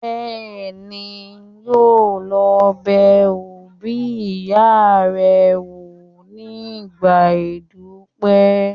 Bẹ́ẹ̀ni, yóò lọ bẹ òbí ìyá rẹ̀ wò nígbà ìdúpẹ́